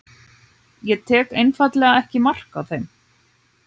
ég tek einfaldlega ekki mark á þeim.